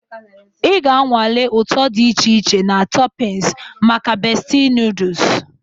Ị ga-anwale ụtọ dị iche iche na toppings maka Bestie noodles.